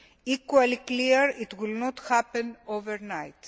Equally clearly, this will not happen overnight.